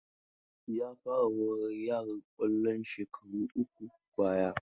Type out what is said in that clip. Ya fara horar yaran kwallo shekaru uku baya.